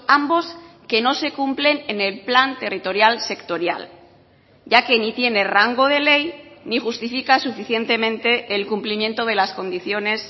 ambos que no se cumplen en el plan territorial sectorial ya que ni tiene rango de ley ni justifica suficientemente el cumplimiento de las condiciones